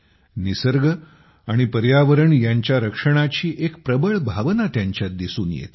निसर्ग आणि पर्यावरण यांच्या रक्षणाची एक प्रबळ भावना त्यांच्यात दिसून येते